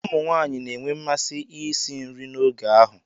Ụmụ nwanyị na-enwe mmasị isi nri n'oge ahụ.